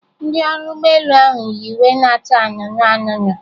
Ndị ọrụ ụgbọ elu ahụ yi uwe na-acha anụnụ anụnụ